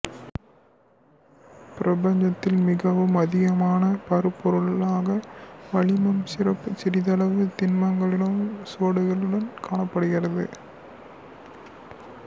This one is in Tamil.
பிரபஞ்சத்தில் மிகவும் அதிகமான பருப்பொருளாக வளிமம் சிறிதளவு திண்மங்களின் சுவடுகளுடன் காணப்படுகிறது